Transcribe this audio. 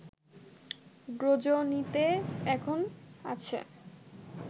গ্রজনিতে এখন আছে